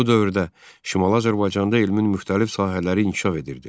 Bu dövrdə Şimali Azərbaycanda elmin müxtəlif sahələri inkişaf edirdi.